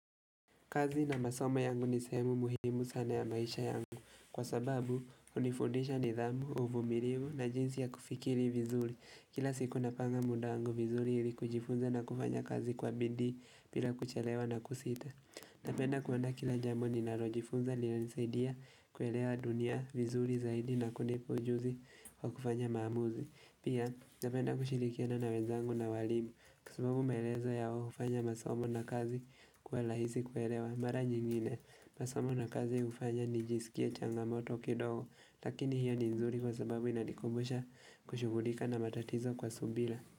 Kazi na masomo yangu nisehemu muhimu sana ya maisha yangu kwa sababu hunifundisha nidhamu, uvumirivu na jinsi ya kufikiri vizuli. Kila siku napanga muda wangu vizuri ili kujifunza na kufanya kazi kwa bidii bila kuchelewa na kusita. Napenda kuandaa kila jambo ninarojifunza linanisaidia kuelewa dunia vizuli zaidi na kunipa ujuzi wa kufanya maamuzi. Pia napenda kushirikiana na wezangu na walimu kwasababu maelezo yao hufanya masomo na kazi kuwa lahisi kuerewa, mara nyingine. Masomo na kazi ufanya nijisikie changamoto kidogo, lakini hiyo ni nzuri kwa sababu inanikumbusha kushugulika na matatizo kwa subila.